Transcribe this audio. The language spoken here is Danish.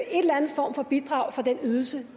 eller anden form for bidrag for den ydelse